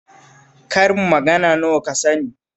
Karin magana nawa ka sani